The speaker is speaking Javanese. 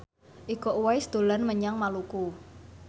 Iko Uwais dolan menyang Maluku